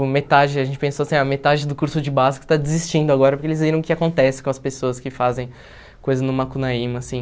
Uh metade a gente pensou assim, a metade do curso de básico está desistindo agora, porque eles viram o que acontece com as pessoas que fazem coisas no Macunaíma assim.